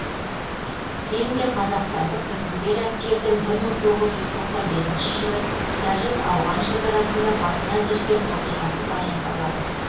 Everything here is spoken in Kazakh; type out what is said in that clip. фильмде қазақстандық бітімгер әскердің бір тоғыз жүз тоқсан бесінші жылы тәжік ауған шекарасында басынан кешкен оқиғасы баяндалады